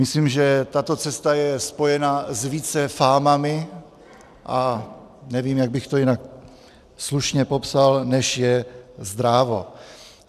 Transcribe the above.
Myslím, že tato cesta je spojena s více fámami, a nevím, jak bych to jinak slušně popsal, než je zdrávo.